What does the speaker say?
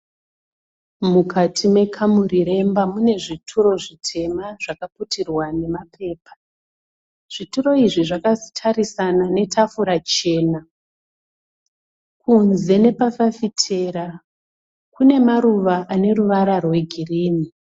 Mukati mekamuri remba mune zvituro zvitema zvakaputirwa nemapepa. Zvituro izvi zvakatarisana netafura chena. Kunze nepafafitera kune maruva aneruvara rwegirini.